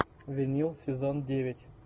винил сезон девять